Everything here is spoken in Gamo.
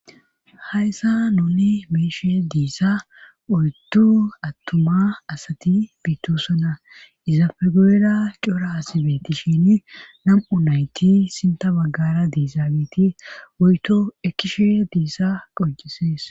Hayssa nuni meishe diissa oyddu attuma asati biittosona iza pegoeda cra asibetti shin nam7u nayti sinta baggara diizaabiti woyto ekkishe diissa qoncisees